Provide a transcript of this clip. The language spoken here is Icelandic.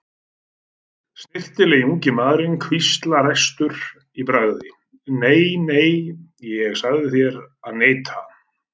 Snyrtilegi ungi maðurinn hvíslar æstur í bragði: Nei, nei, ég sagði þér að neita